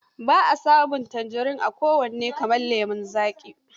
Ba a samun tanjirin a kowane kamar lemon zaƙi.